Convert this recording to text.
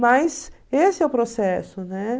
Mas esse é o processo, né?